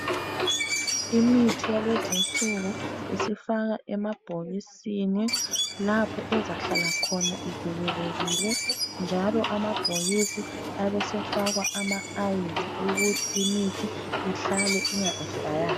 Imithi yalezinsuku isifakwa emabhokisini lapho ezahlala khona ivikelekile njalo amabhokisi abesefakwa ama ice ukuthi imithi ihlale inga expayanga.